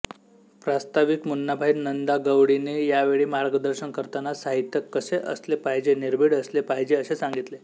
प्रास्ताविक मुन्नाभाई नंदागवळीने यावेळी मार्गदर्शन करताना साहित्य कसे असले पाहिजे निर्भीड असले पाहिजे असे सांगितले